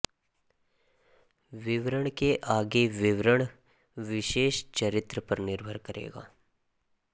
विवरण के आगे विवरण विशेष चरित्र पर निर्भर करेगा